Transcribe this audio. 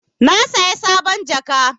Na saya sabon jaka.